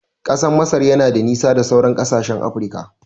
Ƙasar Masar yana da nisa da sauran kasashen Afirika